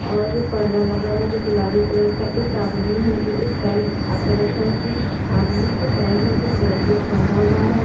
और पर्दा लगा हुआ है जो गुलाबी कलर का एक आदमी है एक पैर उठा कर रखा है उसमे आदमी के पैर में उसमे कुछ वेंडेज बंधा हुआ है।